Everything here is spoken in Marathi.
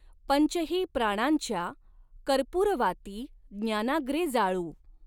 पंचही प्राणांच्या कर्पूरवाती ज्ञाना़ग्रे जाळू।